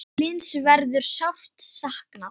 Hlyns verður sárt saknað.